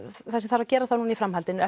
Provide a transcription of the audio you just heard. það sem þarf að gera þá núna í framhaldinu